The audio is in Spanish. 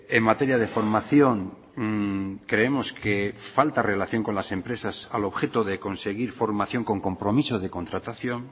en materia de formación creemos que falta relación con las empresas al objeto de conseguir formación con compromiso de contratación